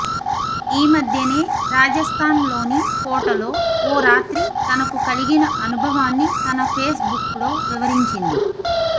ఈమధ్యనే రాజస్తాన్ లోని కోటలో ఓ రాత్రి తనకు కలిగిన అనుభవాన్ని తన పేస్ బుక్ లో వివరించింది